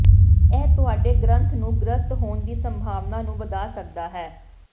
ਇਹ ਤੁਹਾਡੇ ਗ੍ਰੰਥ ਨੂੰ ਗ੍ਰਸਤ ਹੋਣ ਦੀ ਸੰਭਾਵਨਾ ਨੂੰ ਵਧਾ ਸਕਦਾ ਹੈ